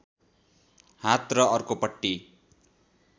हात र अर्कोपट्टी